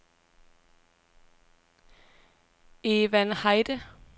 Evan Heide